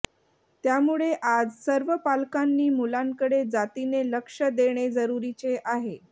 त्यामुळे आज सर्व पालकांनी मुलांकडे जातीने लक्ष देणे जरुरीचे आहे